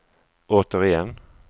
återigen